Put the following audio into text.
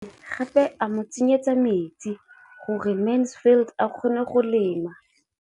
O ne gape a mo tsenyetsa metsi gore Mansfield a kgone go lema.